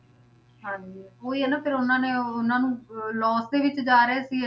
ਹਾਂਜੀ ਉਹੀ ਆ ਨਾ ਫਿਰ ਉਹਨਾਂ ਨੇ ਉਹਨਾਂ ਨੂੰ loss ਦੇ ਵਿੱਚ ਜਾ ਰਹੇ ਸੀ